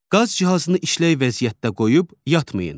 Qaz cihazını işlək vəziyyətdə qoyub yatmayın.